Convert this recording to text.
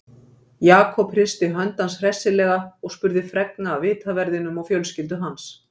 Jakob hristi hönd hans hressilega og spurði fregna af vitaverðinum og fjölskyldu hans.